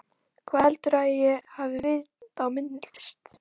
Hvað heldurðu að ég hafi vit á myndlist?